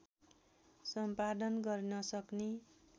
सम्पादन गर्न सक्ने